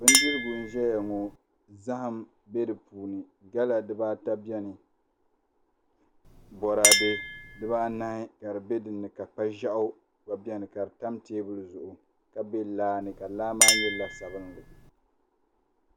Bindirigu n ʒɛya ŋo zaham bɛ di puuni gala dibaata bɛni boraadɛ dibaanahi ka di bɛ di puuni ka kpa ʒiɛɣu gba bɛni ka di tam teebuli zuɣu ka bɛ laa ni ka laa maa nyɛ la sabinli